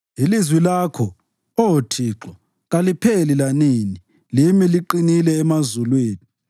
Ilizwi lakho, Oh Thixo, kalipheli lanini; limi liqinile emazulwini.